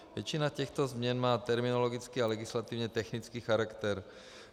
Většina těchto změn má terminologický a legislativně technický charakter.